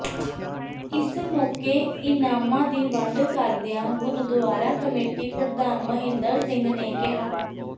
ਇਸ ਮੌਕੇ ਇਨਾਮਾਂ ਦੀ ਵੰਡ ਕਰਦਿਆਂ ਗੁਰਦੁਆਰਾ ਕਮੇਟੀ ਪ੍ਰਧਾਨ ਮਹਿੰਦਰ ਸਿੰਘ ਨੇ ਕਿਹਾ